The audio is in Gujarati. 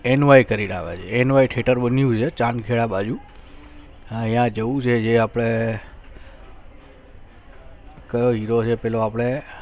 NY કરીને આવે છે NYTheatre બનઉ છે ચાંદખેડા બાજુ યા જોવું છે જે આપણે કયો Hero છે પેલો આપડે